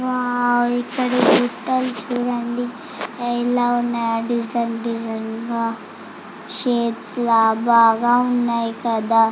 Wow ఇక్కడ గుట్టలు చుడండి ఎలా ఉన్నాయో డిసైన్ డిసైన్ గ షాప్స్ ఆ బాగా ఉన్నాయ్ కదా .